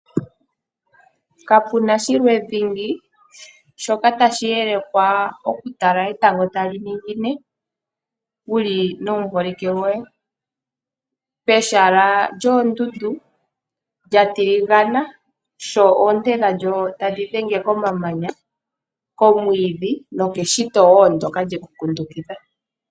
Kapu na shimwe dhingi shoka tashi elekwa noku tala etango tali ningine wuli nomuholike goye, pehala lyoondundu lya tiligana sho oonte dhalyo tadhi dhenge komamanya, komwiidhi nokeshito ndyoka lyekukundukitha.